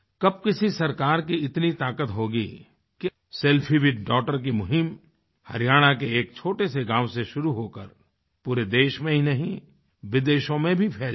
कब किसी सरकार की इतनी ताक़त होगीकि सेल्फीविथडॉगटर की मुहिम हरियाणा के एक छोटे से गाँव से शुरू होकर पूरे देश में ही नहीं विदेशों में भी फैल जाए